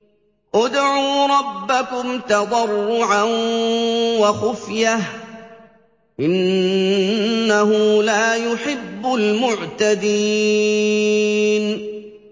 ادْعُوا رَبَّكُمْ تَضَرُّعًا وَخُفْيَةً ۚ إِنَّهُ لَا يُحِبُّ الْمُعْتَدِينَ